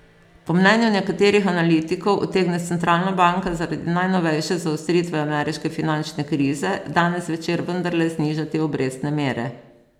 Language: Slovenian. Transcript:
Po mnenju nekaterih analitikov utegne centralna banka zaradi najnovejše zaostritve ameriške finančne krize danes zvečer vendarle znižati obrestne mere.